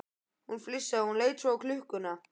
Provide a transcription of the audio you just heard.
Hún flissaði, en leit svo á klukkuna.